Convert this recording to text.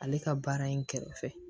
Ale ka baara in kɛrɛfɛ